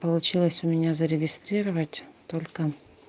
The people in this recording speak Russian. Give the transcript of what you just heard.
получилось у меня зарегистрировать только